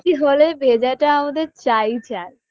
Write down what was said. হলে ভেজাটা আমাদের চাইই চাই